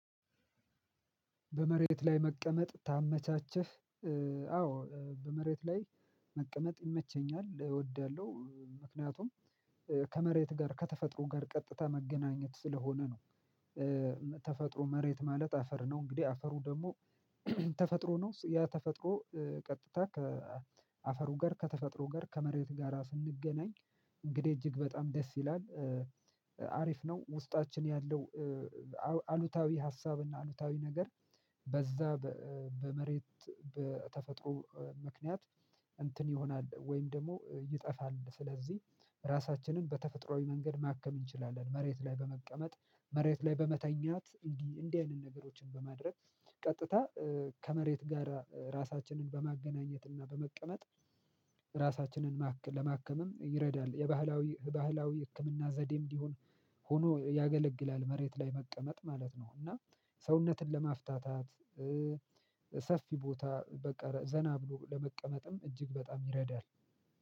በመሬት ላይ መቀመጥ ታመቻቸህ? አዎ በመሬት ላይ መቀመጥ ይመቸኛል እወዳለሁ ምክንያቱም ከመሬት ጋር ከተፈጥሮ ጋር ቀጥታ መገናኘት ስለሆነ ነው። ተፈጥሮ መሬት ማለት አፈር ነው እንግዲህ አፈሩ ደግሞ ተፈጥሮ ነው ያ ተፈጥሮ ቀጥታ ከአፈሩ ጋር ከተፈጥሮ ጋር ከመሬት ጋራ ስንገናኝ እንግዲህ እጅግ በጣም ደስ ይላል አሪፍ ነው ውስጣችን ያለው። አሉታዊ ሀሳብና አሉታዊ ነገር በዛ በመሬት በተፈጥሮ ምክንያት እንትን ይሆናል ወይም ደግሞ ይጠፋል ስለዚህ። ራሳችንን በተፈጥሮአዊ መንገድ ማከም እንችላለን መሬት ላይ በመቀመጥ መሬት ላይ በመተኛት እንዲህ እንዲህ አይነት ነገሮችን በማድረግ ቀጥታ ከመሬት ጋራ ራሳችንን በማገናኘት እና በመቀመጥ ራሳችንን ለማከምም ይረዳል። የባህላዊ ባህላዊ ህክምና ዘዴም ቢሆን ሆኖ ያገለግላል መሬት ላይ መቀመጥ ማለት ነው። እና ሰውነትን ለማፍታታት ሰፊ ቦታ በቀረ ዘና ብሎ ለመቀመጥም እጅግ በጣም ይረዳል።